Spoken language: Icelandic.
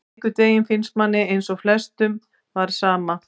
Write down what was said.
Einhvern veginn finnst manni eins og flestum var sama,